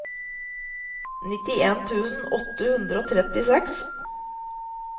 nittien tusen åtte hundre og trettiseks